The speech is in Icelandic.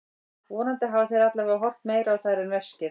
Vonandi hafa þeir allavega horft meira á þær en veskið.